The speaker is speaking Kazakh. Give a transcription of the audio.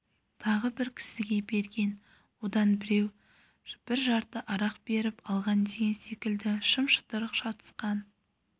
тағы бір кісіге берген одан біреу бір жарты арақ беріп алған деген секілді шым-шытырық шатысқан